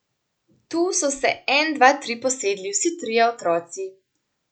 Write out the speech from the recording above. Tu so se en dva tri posedli vsi trije otroci.